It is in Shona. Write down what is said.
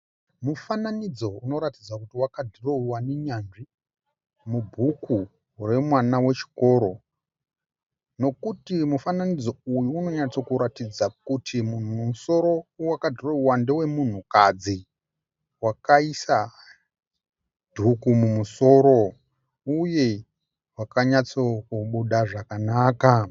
Mufananidzo unoratidza kuti wakadhirowewa nenyanzvi mubhuku remwana wechikoro nokuti mufananidzo uyu unonyatsokuratidza kuti musoro wakadhirowewa ndewe munhukadzi wakaisa dhuku mumusoro uye wakanyatsokubuda zvakanaka.